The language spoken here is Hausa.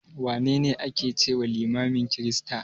Wane ne a ke cewa limamin kirista?